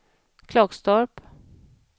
Klagstorp